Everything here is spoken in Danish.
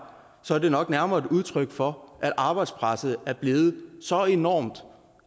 så er det nok nærmere et udtryk for at arbejdspresset er blevet så enormt